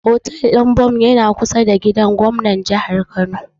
Hotel ɗin Bon yana kusa da gidan gobnatin Jihar Kano.